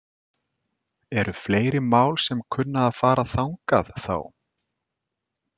Eru fleiri mál sem að kunna að fara þangað þá?